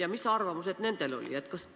Ja mis arvamused neil olid?